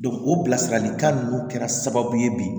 o bilasiralikan ninnu kɛra sababu ye bi